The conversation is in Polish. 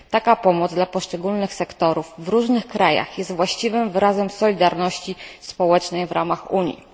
Taka pomoc dla poszczególnych sektorów w różnych krajach jest właściwym wyrazem solidarności społecznej w ramach Unii.